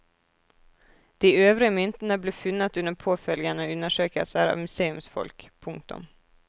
De øvrige myntene ble funnet under påfølgende undersøkelser av museumsfolk. punktum